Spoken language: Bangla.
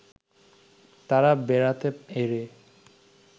তারা বেড়াতে এরে